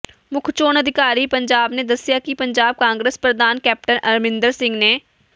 ਮੁੱਖ ਚੋਣ ਅਧਿਕਾਰੀ ਪੰਜਾਬ ਨੇ ਦੱਸਿਆ ਕਿ ਪੰਜਾਬ ਕਾਂਗਰਸ ਪ੍ਰਧਾਨ ਕੈਪਟਨ ਅਮਰਿੰਦਰ ਸਿੰਘ ਨੇ ਮੋ